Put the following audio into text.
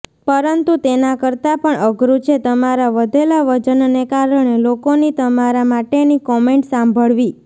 પરંતુ તેના કરતા પણ અઘરું છે તમારા વધેલા વજનને કારણે લોકોની તમારા માટેની કોમેન્ટ સાંભળવી